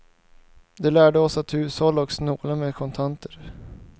Den lärde oss att hushålla och snåla med kontanter.